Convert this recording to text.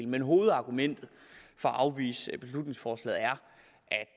men hovedargumentet for at afvise beslutningsforslaget er